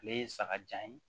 Ale ye sagajan ye